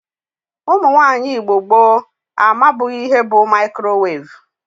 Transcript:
Ụmụnwaanyi Igbo gboo amabughi ihe bu mikrowevu.